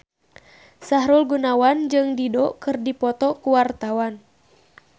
Sahrul Gunawan jeung Dido keur dipoto ku wartawan